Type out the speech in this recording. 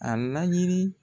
A laɲni